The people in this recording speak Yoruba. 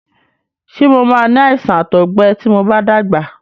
Ṣé mo máa ni àìsàn àtọgbẹ ti mo bá dàgbà?